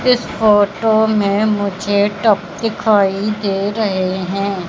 इस फोटो में मुझे टब दिखाई दे रहे हैं।